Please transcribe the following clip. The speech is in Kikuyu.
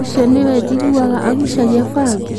ũcio nĩwe njiguaga agucagia bangi?